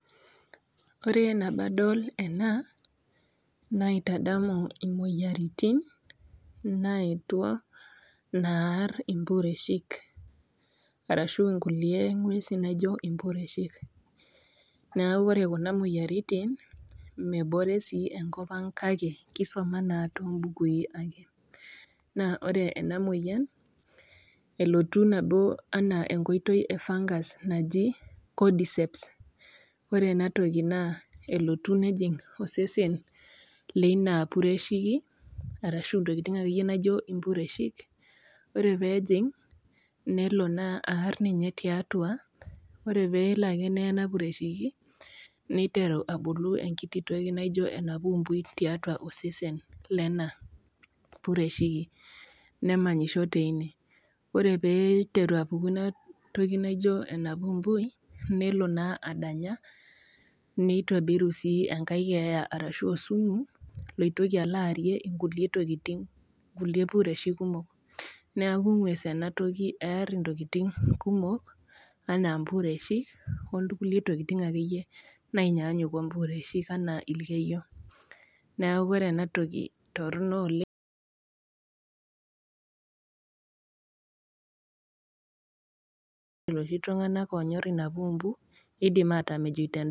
Ore nabo adol ena , naitadamu imoyiaritin naetuo, naar impureshik, arashu inkulie ng'uesi naijo impureshik. Neaku ore kuna moyiaritin mebore enkop ang' kake kisuma naa too imbukui ake. Naa ore ena moyian, elotu nabo ana enkoitoi e fungus naji cordyceps, ore ena toki naa elotu nejing' osesen leina pureshiki, arashu intokitin ake iyie naijo impureshik, ore pee ejing', nelo naa aar ninye tiatua, ore ake nelo ake neye ena pureshiki, neiteru abulu enkiti toki naijo enapumbui tiatua osesen lena pureshiki, nemanyisho teine. Ore pee eiteru apuku ina toki naijo enapumbui, nelo naa adanya, neitobiru sii enkai keeya arashu osumu loitoki alo aarie inkulie tokin, nkulie pureshik kumok, neaku ng'ues ena toki ear intokitin kumok, anaa impureshik, o kulie tokitin ake iyie kumok natuu anaa impureshik anaa ilkeiyo. Neaku ore ena toki, torono oleng' looshi tung'anak oonyor inapumbu, eidim atam ejoito endaa.